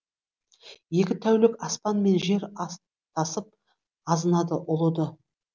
екі тәулік аспан мен жер астасып азынады ұлыды